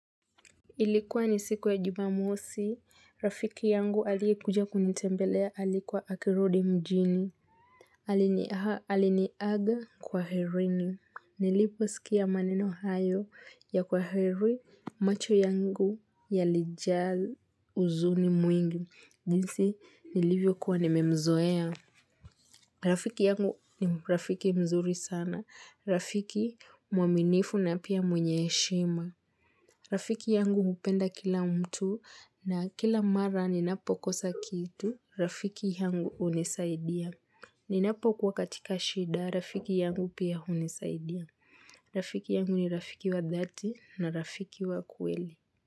Ilikuwa ni siku ya jumamosi, rafiki yangu alikuja kunitembelea alikuwa akirudi mjini. Aliniaga kwaherini. Nilipo sikia maneno hayo ya kwaheri macho yangu yalija huzuni mwingi. Ndisi nilivyo kuwa nimemzoea. Rafiki yangu ni rafiki mzuri sana. Rafiki mwaminifu na pia mwenye heshima. Rafiki yangu upenda kila mtu na kila mara ninapo kosa kitu, rafiki yangu unisaidia. Ninapo kwa katika shida, rafiki yangu pia unisaidia. Rafiki yangu ni rafiki wa dhati na rafiki wa kweli.